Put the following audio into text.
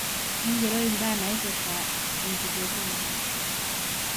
ng'ero mbaa naaipirta enkitotio oonkera